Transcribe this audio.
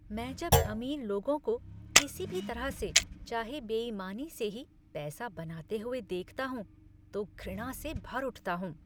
मैं जब अमीर लोगों को किसी भी तरह से, चाहे बेईमानी से ही, पैसा बनाते हुए देखता हूँ तो घृणा से भर उठता हूँ।